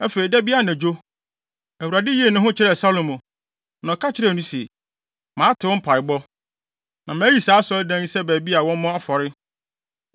Afei, da bi anadwo, Awurade yii ne ho adi kyerɛɛ Salomo, na ɔka kyerɛɛ no se, “Mate wo mpaebɔ, na mayi saa Asɔredan yi sɛ baabi a wɔmmɔ afɔre.